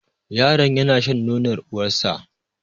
Yaron yana shan nonor uwar sa